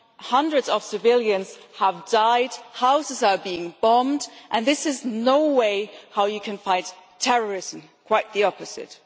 Hundreds of civilians have died, houses are being bombed, and this is no way to fight terrorism quite the opposite.